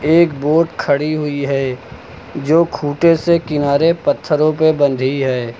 एक बोट खड़ी हुई है जो खुटे से किनारे पत्थरों पर बंधी है।